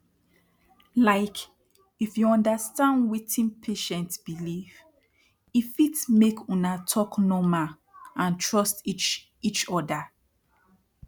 like if you understand wetin patient belief e fit make una talk norma and trust each each oda